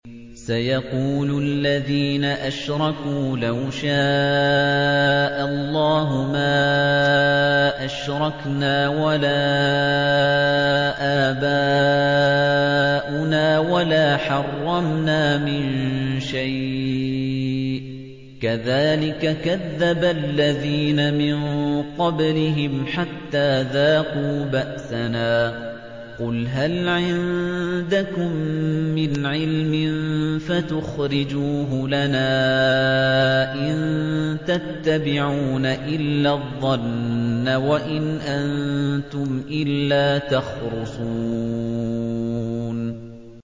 سَيَقُولُ الَّذِينَ أَشْرَكُوا لَوْ شَاءَ اللَّهُ مَا أَشْرَكْنَا وَلَا آبَاؤُنَا وَلَا حَرَّمْنَا مِن شَيْءٍ ۚ كَذَٰلِكَ كَذَّبَ الَّذِينَ مِن قَبْلِهِمْ حَتَّىٰ ذَاقُوا بَأْسَنَا ۗ قُلْ هَلْ عِندَكُم مِّنْ عِلْمٍ فَتُخْرِجُوهُ لَنَا ۖ إِن تَتَّبِعُونَ إِلَّا الظَّنَّ وَإِنْ أَنتُمْ إِلَّا تَخْرُصُونَ